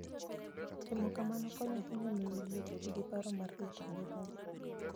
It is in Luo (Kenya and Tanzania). Timo kamano konyo ahinya e miyo ji obed gi paro mar rito ngimagi.